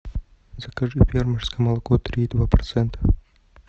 закажи фермерское молоко три и два процента